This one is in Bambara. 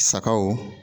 Sagaw